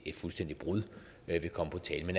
et fuldstændigt brud vil komme på tale